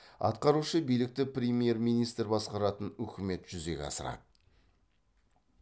атқарушы билікті премьер министр басқаратын үкімет жүзеге асырады